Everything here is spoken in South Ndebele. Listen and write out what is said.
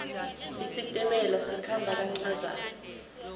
isitimela sikhamba kancazana